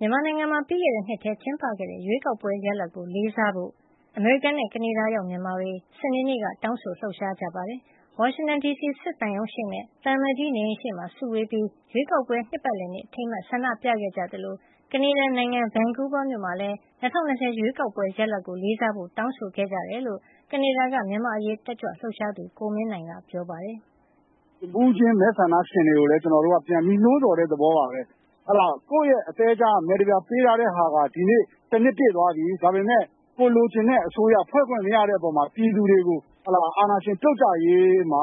မြန်မာနိုင်ငံမှာ ပြီးခဲ့တဲ့နှစ်ထဲ ကျင်းပခဲ့တဲ့ ရွေးကောက်ပွဲရလဒ်ကို လေးစားဖို့ အမေရိကန်နဲ့ ကနေဒါရောက် မြန်မာတွေ စနေနေ့က တောင်းဆို လှုပ်ရှားကြပါတယ်။ ဝါရှင်တန်ဒီစီ စစ်သံရုံးရှေ့နဲ့ သံအမတ်ကြီး နေအိမ်ရှေ့မှာ စုဝေးပြီး ရွေးကောက်ပွဲ နှစ်ပတ်လည်နေ့ အထိမ်းအမှတ်အဖြစ် ဆန္ဒပြခဲ့ကြသလို ကနေဒါနိုင်ငံ Vancouver မြို့မှာလည်း ၂၀၂၀ ရွေးကောက်ပွဲရလဒ်ကို လေးစားဖို့ တောင်းဆိုခဲ့ကြတယ်လို့ ကနေဒါက မြန်မာ့အရေး တက်ကြွလှုပ်ရှားသူ ကိုမင်းနိုင်က ပြောပါတယ်။ “တဦးချင်း မဲဆန္ဒရှင်တွေကိုလည်း ကျနော်တို့က ပြန်ပြီး နှိုးဆော်တဲ့ သဘောပါပဲ။ ကိုယ့်ရဲ့ အသည်းကြားက မဲတပြား ပေးထားတဲ့ဟာက ဒီနေ့ တနှစ်ပြည့်သွားပြီ။ ဒါပေမယ့် ကိုယ်လိုချင်တဲ့အစိုးရ ဖွဲ့ခွင့်မရတဲ့အပေါ်မှာ ပြည်သူတွေကို အာဏာရှင် ပြုတ်ကျရေးမှာ